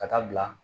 Ka taa bila